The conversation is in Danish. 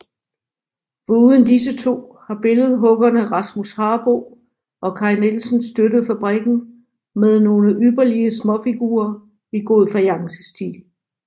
Foruden disse to har billedhuggerne Rasmus Harboe og Kai Nielsen støttet fabrikken med nogle ypperlige småfigurer i god fajancestil